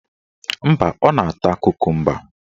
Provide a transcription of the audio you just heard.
Mba, ọ na-ata kokumba